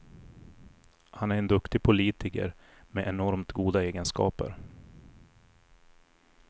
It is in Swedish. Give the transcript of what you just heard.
Han är en duktig politiker med enormt goda egenskaper.